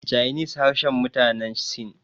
chinese harshen mutane sin